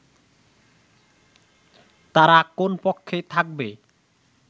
তারা কোন পক্ষে থাকবে